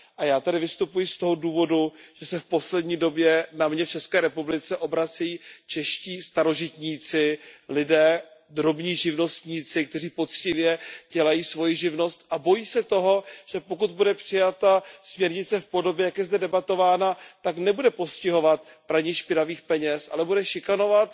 A já tady vystupuji z toho důvodu, že se v poslední době na mě v České republice obracejí čeští starožitníci, lidé, drobní živnostníci, kteří poctivě dělají svoji živnost a bojí se toho, že pokud bude přijata směrnice v podobě, jak je zde debatována, tak nebude postihovat praní špinavých peněz, ale bude šikanovat